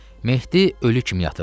Mehdi ölü kimi yatırdı.